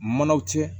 Manaw cɛ